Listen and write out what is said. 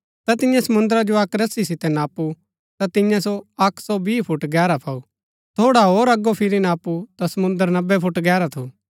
ता तियें समुन्द्रा जो अक्क रस्सी सितै नापु ता तिन्ये सो अक्क हौ बीह फुट गैहरा पाऊ थोड़ा होर अगो फिरी नापु ता समुंद्र नब्बै फुट गैहरा थु